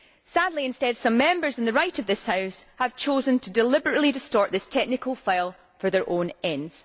Sadly, instead, some Members on the right of this House have chosen to deliberately distort this technical file for their own ends.